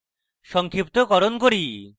সংক্ষিপ্তকরণ করি